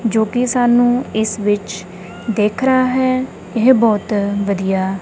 ਜੋ ਕਿ ਸਾਨੂੰ ਇਸ ਵਿੱਚ ਦਿਖ ਰਿਹਾ ਹੈ ਇਹਬਹੁਤ ਵਧੀਆ --